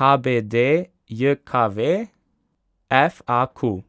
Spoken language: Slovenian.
H B D J K V; F A Q.